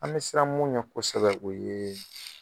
An bɛ siran mun ɲɛ kosɛbɛ o ye